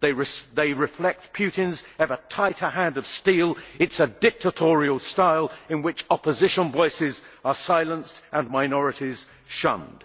They reflect Putin's ever tighter hand of steel. It is a dictatorial style in which opposition voices are silenced and minorities shunned.